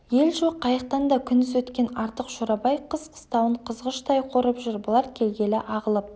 ел жоқ қайықтан да күндіз өткен артық шорабай қыс қыстауын қызғыштай қорып жүр бұлар келгелі ағылып